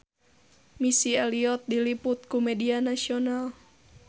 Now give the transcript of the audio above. Missy Elliott diliput ku media nasional